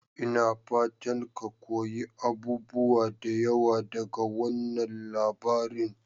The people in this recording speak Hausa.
Ina fatan ka koyi abubuwa da yawa daga wannan labarin?